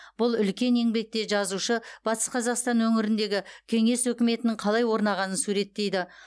бұл үлкен еңбекте жазушы батыс қазақстан өңіріндегі кеңес өкіметінің қалай орнағанын суреттейді